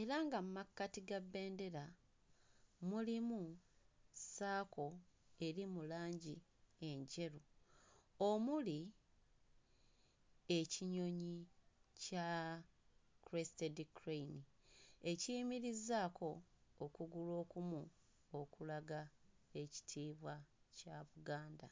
era nga mu makkati ga bbendera mulimu ssaako eri mu langi enjeru omuli ekinyonyi kya crested crane ekiyimirizzaako okugulu okumu okulaga ekitiibwa kya Buganda.